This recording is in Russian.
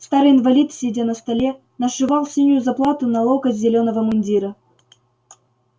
старый инвалид сидя на столе нашивал синюю заплату на локоть зелёного мундира